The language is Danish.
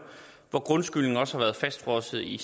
hvor grundskylden også har været fastfrosset i